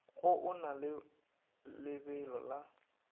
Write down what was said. go ona le lebelo la